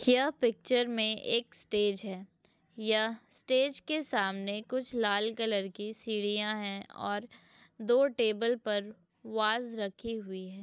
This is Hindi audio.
यह पिक्चर मे एक स्टेज है। यह स्टेज के सामने कुछ लाल कलर की सीढ़ियाँ हैं और दो टेबल पर वाज रखी हुई हैं।